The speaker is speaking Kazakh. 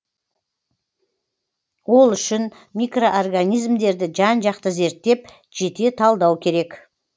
ол үшін микроорганизмдерді жан жақты зерттеп жете талдау керек